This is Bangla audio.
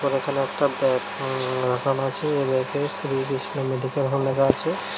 এখানে একটা ব্যাগ আছে এ ব্যাগে শ্রী কৃষ্ণ মেডিকেল হল লেখা আছে।